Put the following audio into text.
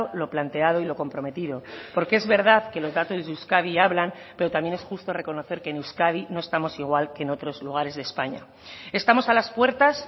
lo planteado y lo comprometido porque es verdad que los datos de euskadi hablan pero también es justo reconocer que en euskadi no estamos igual que en otros lugares de españa estamos a las puertas